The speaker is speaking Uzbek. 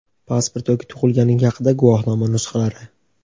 pasport yoki tug‘ilganlik haqidagi guvohnoma nusxalari.